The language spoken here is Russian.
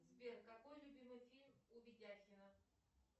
сбер какой любимый фильм у видякина